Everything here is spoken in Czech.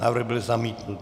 Návrh byl zamítnut.